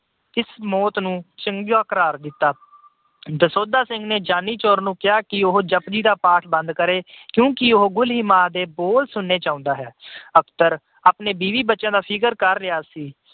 ਇਸ ਮੌਤ ਨੂੰ ਚੰਗਾ ਕਰਾਰ ਦਿੱਤਾ। ਦਸੌਂਧਾ ਸਿੰਘ ਨੇ ਜਾਨੀ ਚੋਰ ਨੂੰ ਕਿਹਾ ਕਿ ਉਹ ਜਪੁਜੀ ਦਾ ਪਾਠ ਬੰਦ ਕਰੇ ਕਿਉਂਕਿ ਉਹ ਗੁਲੀਮਾ ਦੇ ਬੋਲ ਸੁਣਨੇ ਚਾਹੁੰਦਾ ਹੈ। ਅਖਤਰ ਆਪਣੇ ਬੀਵੀ ਬੱਚਿਆਂ ਦਾ ਫਿਕਰ ਕਰ ਰਿਹਾ ਸੀ।